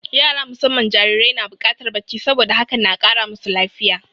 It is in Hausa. Yara musamman jarirai na buƙatar bacci, saboda hakan na kara masu lafiya.